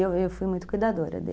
E eu eu fui muito cuidadora dele.